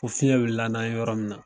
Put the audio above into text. O fiɲɛ wulila n'an ye yɔrɔ min na.